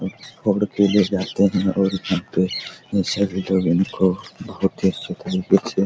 और अकेले जाते हैं और यहां पे को बहुत ही --